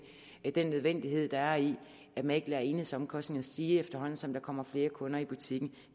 den nødvendighed der er i at man ikke lader enhedsomkostningerne stige efterhånden som der kommer flere kunder i butikken